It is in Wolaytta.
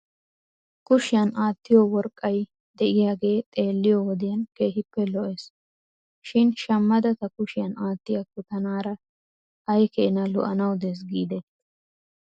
Kushiyan aattiyoo worqqay de'iyaagee xeeliyoo wodiyan keehippe lo'es shin shamada ta kushiyan aattiyaakko tanaara ay keenaa lo'anaw des giidetii ?